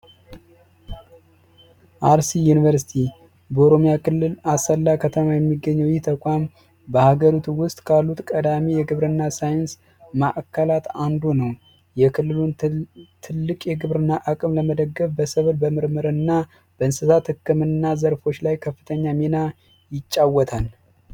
አርሲ ዩኒቨርስቲ ኦሮሚያ ክልል አሰላ ከተማ የሚገኘው ተቋም በሀገሩ ውስጥ ካሉት ቀዳሚ የግብርና ሳይንስ ማእከላት አንዱ ነው ትልቅ የግብርና አቅም ለመደገፍ በሰበርና በእንስሳት ህክምና ዘርፎች ላይ ከፍተኛ ሚና ይጫወታል